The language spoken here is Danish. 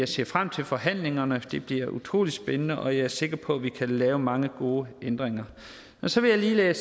ser frem til forhandlingerne det bliver utrolig spændende og jeg er sikker på at vi kan lave mange gode ændringer og så vil jeg